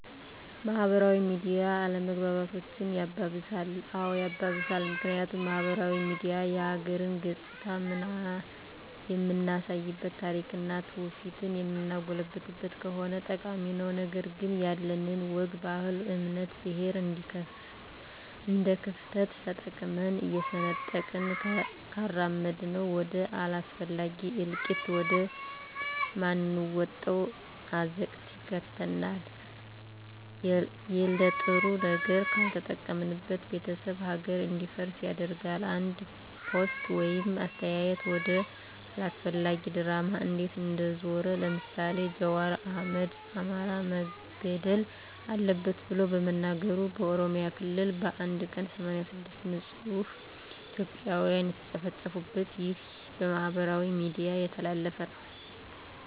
ማህበራዊ ሚዲያ አለመግባባቶችን ያባብሳል? አዎ ያባብሳል ምክንያቱም ማህበራዊ ሚዲያ የሀገርን ገፅታ የምናሳይበት ታሪክና ትውፊቷን የምናጎላበት ከሆነ ጠቃሚ ነው ነገር ግን ያለንን ወግ ባህል እምነት ብሔር እንደክፍተት ተጠቅመን እየሰነጠቅን ካራመድነው ወደ አላስፈላጊ እልቂት ወደ ማንወጣው አዘቅት ይከተናል የለጥሩ ነገር ካልተጠቀምንበት ቤተሰብ ሀገር እንዲፈርስ ያደርጋል አንድ ፖስት ወይም አስተያየት ወደ አላስፈላጊ ድራማ እንዴት እንደዞረ ለምሳሌ ጃዋር አህመድ አማራ መገደል አለበት ብሎ በመናገሩ በኦሮሚያ ክልል በአንድ ቀን 86 ንፁህ እትዮጵያን የተጨፈጨፉበት ይህ በማህበራዊ ሚዲያ የተላለፈ ነው